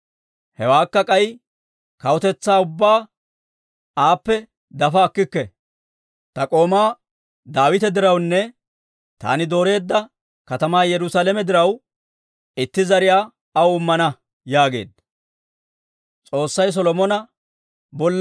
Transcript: Hewaakka k'ay kawutetsaa ubbaa aappe dafa akkikke; ta k'oomaa Daawita dirawunne taani dooreedda katamaa Yerusaalame diraw itti zariyaa aw immana» yaageedda.